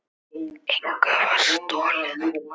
Engu var stolið.